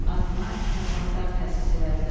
Adına mükafatlar təsis elədilər.